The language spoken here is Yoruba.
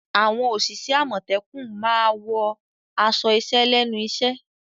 Àwọn òṣìṣẹ́ àmọ̀tẹ́kùn máa wọ aṣọ iṣẹ́ lẹ́nu iṣẹ́.